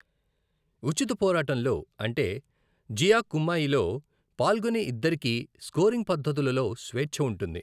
ఉచిత పోరాటంలో అంటే జియా కుమ్మయిలో, పాల్గొనే ఇద్దరికీ స్కోరింగ్ పద్ధతులులో స్వేచ్ఛ ఉంటుంది.